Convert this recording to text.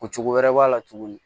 Ko cogo wɛrɛ b'a la tuguni